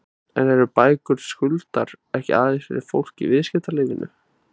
En eru bækur Skuldar ekki aðeins fyrir fólk í viðskiptalífinu?